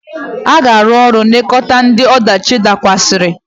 Ị ga-arụ ọrụ nlekọta ndị ọdachi dakwasịrị!